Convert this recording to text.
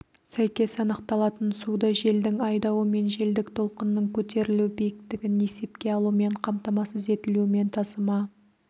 сәйкес анықталатын суды желдің айдауы мен желдік толқынның көтерілу биіктігін есепке алумен қамтамасыз етілумен тасыма